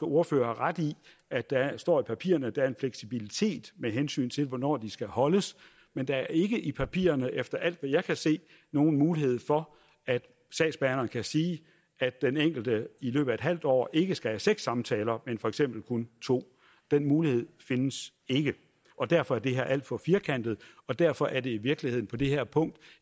ordfører har ret i at der står i papirerne at der er en fleksibilitet med hensyn til hvornår de skal holdes men der er ikke i papirerne efter alt hvad jeg kan se nogen mulighed for at sagsbehandleren kan sige at den enkelte i løbet af et halvt år ikke skal have seks samtaler men for eksempel kun to den mulighed findes ikke og derfor er det her alt for firkantet og derfor er det her i virkeligheden på det her punkt